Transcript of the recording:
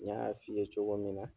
N y'a f'i ye cogo min na.